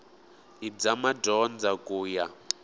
i bya madyondza ku ya